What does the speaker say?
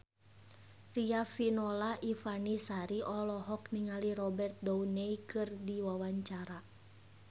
Riafinola Ifani Sari olohok ningali Robert Downey keur diwawancara